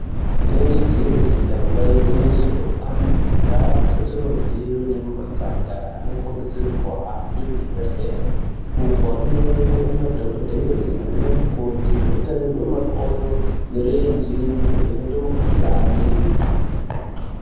Inenge jee damba igwinyiso antu mundau dzetinobveyo nemumaganga anokurudzirwe kuhambe kuzvibhedhleri uko anonoonekwa nemadhokodheya naana mukoti otarirwe makodo, mirenje nekuvhenekwe mikuhlani.